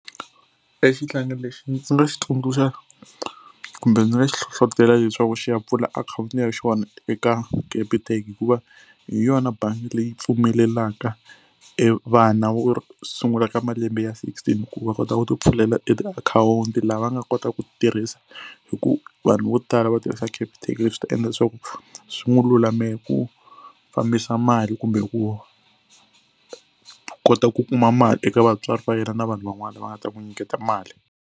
E xihlangi lexi ndzi nga xi tsundzuxa kumbe ndzi nga xi hlohlotelo leswaku xi ya pfula akhawunti ya xona eka Capitec hikuva hi yona bangi leyi pfumelelaka e vana sungula ka malembe ya sixteen ku va kota ku tipfulela e tiakhawunti lava nga kotaka ku tirhisa hi ku vanhu vo tala va tirhisa Capitec leswi ta endla leswaku swi n'wi lulamela ku fambisa mali kumbe ku kota ku kuma mali eka vatswari va yena na vanhu van'wana lava nga ta n'wi nyiketa mali.